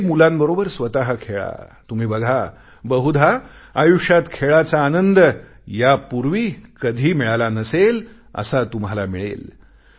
त्या गरीब मुलांबरोबर स्वतः खेळा तुम्ही बघा बहुधा आयुष्यात खेळाचा आनंद यापूर्वी कधी मिळाला नसेल असा तुम्हाला मिळेल